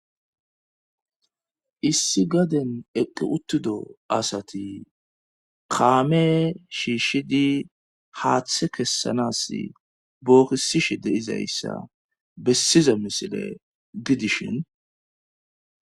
issi gaden eqqi uttido asati kaame shiishshidi haaththe kessanas bookisishe deizayssa bessiza misile gidishin